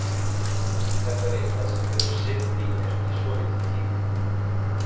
Þetta er eitthvað sem hefur setið í mér í svolítinn tíma.